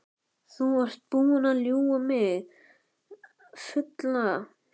Þú ert búinn að ljúga mig fulla.